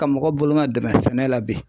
Ka mɔgɔ bolomadɛmɛ sɛnɛ la bi.